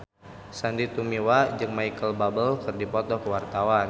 Sandy Tumiwa jeung Micheal Bubble keur dipoto ku wartawan